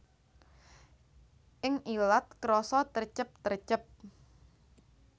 Ing ilat krasa trecep trecep